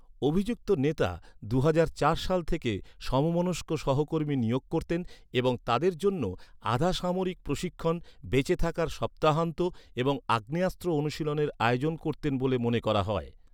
অভিযুক্ত নেতা দুহাজার চার সাল থেকে সমমনস্ক সহকর্মী নিয়োগ করতেন এবং তাদের জন্য আধাসামরিক প্রশিক্ষণ, বেঁচে থাকার সপ্তাহান্ত এবং আগ্নেয়াস্ত্র অনুশীলনের আয়োজন করতেন বলে মনে করা হয়।